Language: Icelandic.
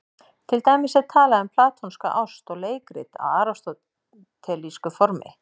Til dæmis er talað um platónska ást og leikrit á aristótelísku formi.